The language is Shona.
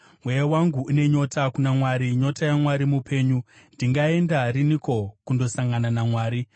Mweya wangu une nyota kuna Mwari, nyota yaMwari mupenyu. Ndingaenda riniko kundosangana naMwari?